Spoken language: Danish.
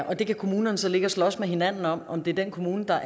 og det kan kommunerne så ligge og slås med hinanden om om det er den kommune der